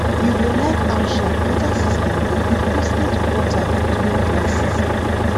you go like how sharp water system dey give constant water during dry season